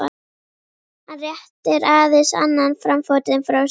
Hann réttir aðeins annan framfótinn frá sér.